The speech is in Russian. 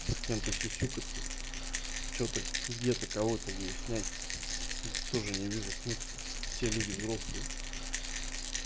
ну с кем-то сюсюкаться что-то где-то кого-то выяснять тоже не вижу смысла все люди взрослые